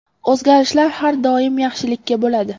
O‘zgarishlar har doim yaxshilikka bo‘ladi.